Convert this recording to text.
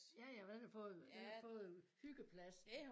Ja ja for den har fået den har fået hyggepladsen